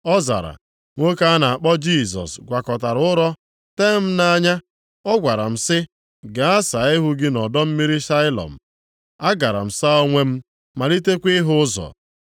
Ọ zara, “Nwoke a na-akpọ Jisọs gwakọtara ụrọ tee m nʼanya. Ọ gwara m sị, ‘Gaa saa ihu gị nʼọdọ mmiri Sailọm.’ A gara m saa onwe m, malitekwa ịhụ ụzọ.”